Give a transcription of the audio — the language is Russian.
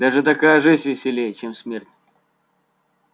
даже такая жизнь веселей чем смерть